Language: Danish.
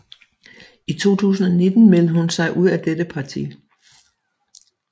I 2019 meldte hun sig ud af dette parti